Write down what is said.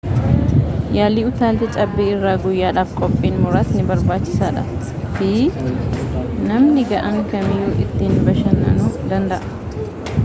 yaalii utaalcha cabbii irraa guyyaadhaf qophiin muraasni barbaachisaa dha fi namni ga'aan kamiyuu itti bashanaanu danda'a